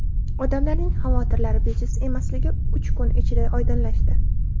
Odamlarning xavotirlari bejiz emasligi uch kun ichida oydinlashdi.